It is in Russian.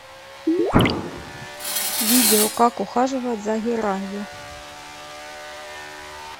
видео как ухаживать за геранью